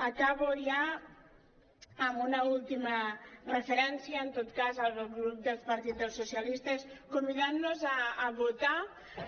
acabo ja amb una última referència en tot cas al grup del partit dels socia·listes convidant·los a votar